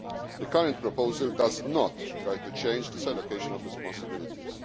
The current proposal does not try to change this allocation of responsibilities.